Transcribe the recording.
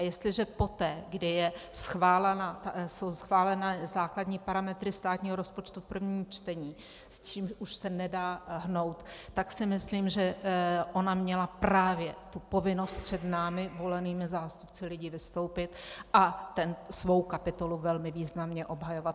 A jestliže poté, kdy jsou schváleny základní parametry státního rozpočtu v prvním čtení, s čímž už se nedá hnout, tak si myslím, že ona měla právě tu povinnost před námi, volenými zástupci lidí, vystoupit a tu svou kapitolu velmi významně obhajovat.